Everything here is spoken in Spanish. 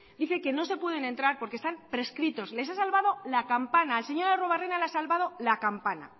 dice que no se puede entrar porque están prescritos les ha salvado la campana al señor arruebarrena le ha salvado la campana